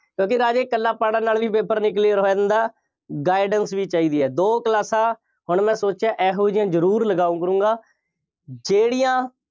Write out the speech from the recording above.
ਕਿਉਂਕਿ ਰਾਜੇ ਇਕੱਲਾ ਪੜ੍ਹਨ ਨਾਲ ਵੀ paper ਨਹੀਂ clear ਹੋਇਆ ਹੁੰਦਾ। guidance ਵੀ ਚਾਹੀਦੀ ਹੈ। ਦੋ ਕਲਾਸਾਂ ਹੁਣ ਮੈਂ ਸੋਚਿਆ ਇਹੋ ਜਿਹੀਆਂ ਜ਼ਰੂਰ ਲਗਾਊ ਕਰੂੰਗਾਂ ਜਿਹੜੀਆਂ